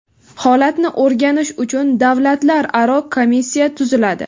holatni o‘rganish uchun davlatlararo komissiya tuziladi.